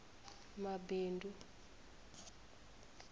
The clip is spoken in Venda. mabindu